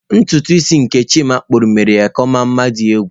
Ntutu isi nke Chima kpuru mere ya ka ọ mma nma di egwu.